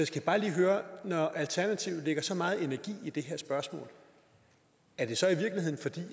skal bare lige høre når alternativet lægger så meget energi i det her spørgsmål er det så